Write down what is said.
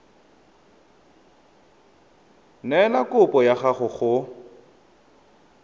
neela kopo ya gago go